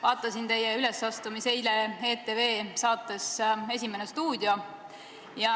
Vaatasin teie ülesastumist eile ETV saates "Esimene stuudio".